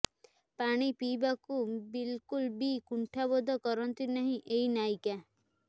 ପାଣି ପିଇବାକୁ ବିଲକୁଲ ବି କୁଣ୍ଠାବୋଧ କରନ୍ତି ନାହିଁ ଏହି ନାୟିକା